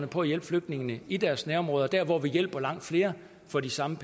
på at hjælpe flygtningene i deres nærområder der hvor vi hjælper langt flere for de samme